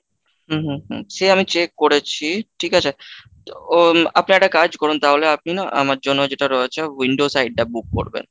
হুম হুম সে আমি check করেছি ঠিক আছে তো, উম আপনি একটা কাজ করুন তাহলে আপনি না আমার জন্য যেটা রয়েছে window side টা book করবেন।